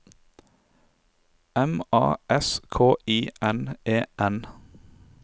M A S K I N E N